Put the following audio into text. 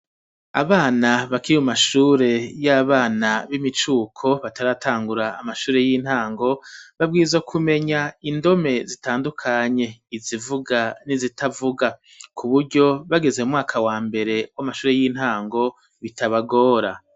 Abana bakiri mu mashure y'abana b'imicuko bataratangura amashure y'intango, babwirizwa kumenya indome zitandukanye izivuga n'izitavuga kuburyo bageze mu mwaka wa mbere w'amashure y'intango bitabagora.